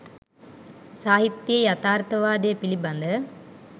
සාහිත්‍යයේ යථාර්ථවාදය පිළිබඳ